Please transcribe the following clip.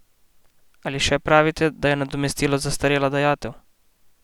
Ali še pravite, da je nadomestilo zastarela dajatev?